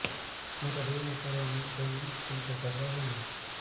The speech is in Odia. ମୋର ଦୁଇ ମାସ ହେଲା ମେନ୍ସ ହେଇନି କିନ୍ତୁ ଗର୍ଭ ବି ନାହିଁ